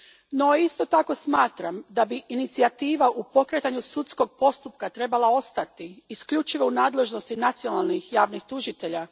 No, isto tako smatram da bi inicijativa u pokretanju sudskog postupka trebala ostati isključivo u nadležnosti nacionalnih javnih tužitelja.